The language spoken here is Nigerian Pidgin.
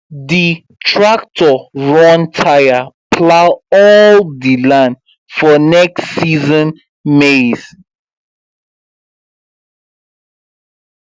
the tractor run tire plow all the land for next season maize